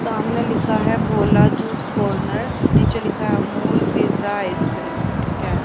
सामने लिखा है भोला जूस कॉर्नर नीचे लिखा है अमूल पिज़्ज़ा आइसक्रीम ठीक है।